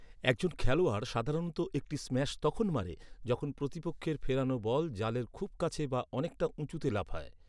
একজন খেলোয়াড় সাধারণত একটি স্ম্যাশ তখন মারে, যখন প্রতিপক্ষের ফেরানো বল জালের খুব কাছে বা অনেকটা উঁচুতে লাফায়।